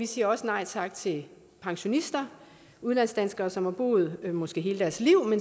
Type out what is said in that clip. siger nej tak til pensionister udlandsdanskere som har boet måske hele deres liv